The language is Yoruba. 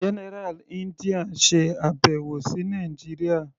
General India ṣe àbẹ̀wò sí Nàìjíría.